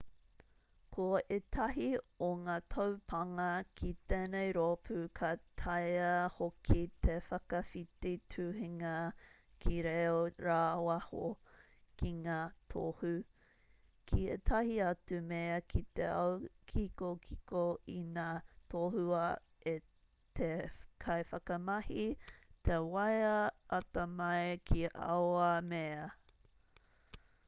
ko ētahi o ngā taupānga ki tēnei rōpū ka taea hoki te whakawhiti tuhinga ki reo rāwaho ki ngā tohu ki ētahi atu mea ki te ao kikokiko ina tohua e te kaiwhakamahi te waea atamai ki aua mea